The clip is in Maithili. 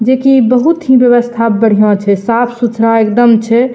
जे की बहुत ही व्यवस्था बढ़िया छै साफ-सुथरा एकदम छै।